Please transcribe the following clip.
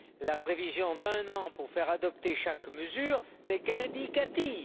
La prévision d'un an pour faire adopter chaque mesure n'est qu'indicative.